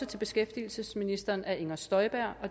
til beskæftigelsesministeren af inger støjberg